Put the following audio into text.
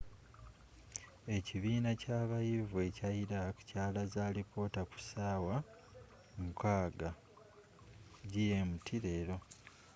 ekibiina kyabayivu ekya iraq kyalaze alipoota ku saawa 12.00 gmt leero